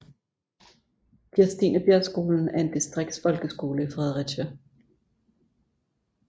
Kirstinebjergskolen er en distriktsfolkeskole i Fredericia